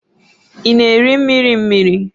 Ị na-eri mmiri mmiri?